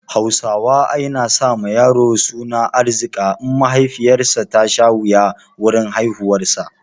Hausawa ai na sa ma yaro suna Arzika in mahaifiyar sa ta sha wuya wurin haihuwar sa